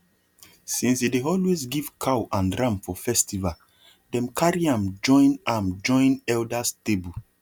since he dey always give cow and ram for festival dem carry am join am join elders table